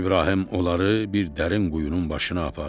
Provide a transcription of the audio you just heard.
İbrahim onları bir dərin quyunun başına apardı.